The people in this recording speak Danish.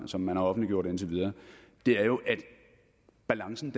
som man har offentliggjort indtil videre er jo at balancen